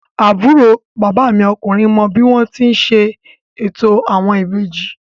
Àbúrò bàbá mi ọkùnrin mọ bí wọ́n ti ń ṣe ètò àwọn ìbejì